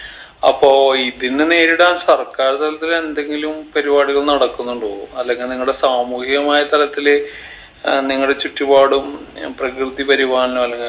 അപ്പോ ഇതിനെ നേരിടാൻ സർക്കാർ തലത്തിൽ എന്തെങ്കിലും പരിപാടികൾ നടക്കുന്നുണ്ടോ അല്ലെങ്കിൽ നിങ്ങടെ സാമൂഹ്യമായ തലത്തിൽ അഹ് നിങ്ങടെ ചുറ്റുപാടും ഏർ പ്രകൃതി പരിപാലനം അല്ലെങ്കി